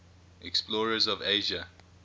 explorers of asia